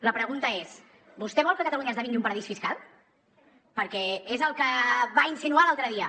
la pregunta és vostè vol que catalunya esdevingui un paradís fiscal perquè és el que va insinuar l’altre dia